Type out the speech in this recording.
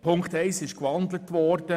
Ziffer 1 ist gewandelt worden.